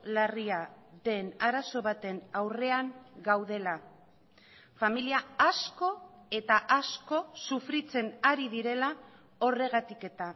larria den arazo baten aurrean gaudela familia asko eta asko sufritzen ari direla horregatik eta